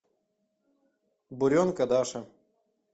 буренка даша